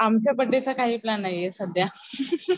आमच्या बर्थडे चा काही प्लॅन नाहीये सध्या